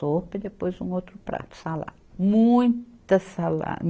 Sopa e depois um outro prato, salada. Muita sala